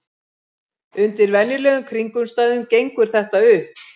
Undir venjulegum kringumstæðum gengur þetta upp.